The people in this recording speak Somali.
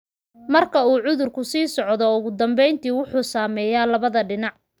Marka uu cudurku sii socdo, ugu dambeyntii wuxuu saameeyaa labada dhinac.